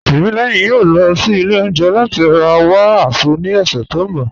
Timílẹyìn yòó lọ sí ilẹ̀ ọ̀unjẹ̀ lati ra wa Azu ni ọṣẹ̀ tó nbọ̀